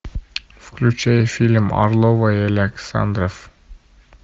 включай фильм орлова и александров